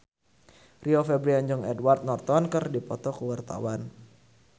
Rio Febrian jeung Edward Norton keur dipoto ku wartawan